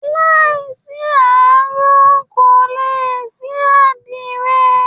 Láìsí aró, kò lè sí àdìrẹ